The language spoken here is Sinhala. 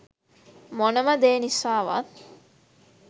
මොනම දේ නිසාවත්